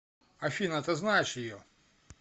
афина ты знаешь ее